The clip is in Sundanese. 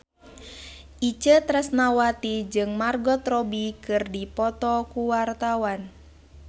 Itje Tresnawati jeung Margot Robbie keur dipoto ku wartawan